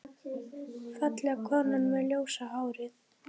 Fallega konan með ljósa hárið.